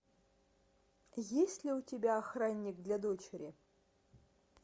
есть ли у тебя охранник для дочери